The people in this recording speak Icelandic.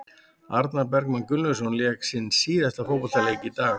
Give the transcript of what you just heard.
Arnar Bergmann Gunnlaugsson lék sinn síðasta fótboltaleik í dag.